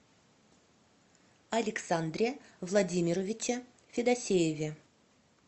александре владимировиче федосееве